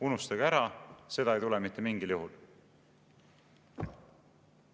"Unustage ära, seda ei tule mitte mingil juhul.